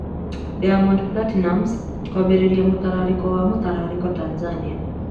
Diamond Platinumz kwambĩrĩria mũtararĩko wa mũtararĩko Tanzania